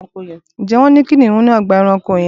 Ǹjẹ́ wọ́n ní kìnnìún ní ọgbà-ẹranko yẹn?